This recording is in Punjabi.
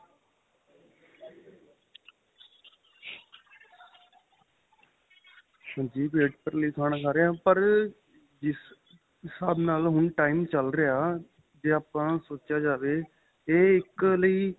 ਹਾਂਜੀ ਪੇਟ ਭਰਨ ਲਈ ਖਾਣਾ ਖਾਂ ਰਹੇ ਆਂ ਪਰ ਜਿਸ ਹਿਸਾਬ ਨਾਲ time ਚੱਲ ਰਿਹਾ ਜੇ ਆਪਾ ਸੋਚਿਆ ਜਾਵੇ ਕੇ ਇੱਕ ਲਈ